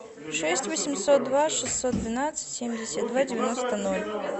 шесть восемьсот два шестьсот двенадцать семьдесят два девяносто ноль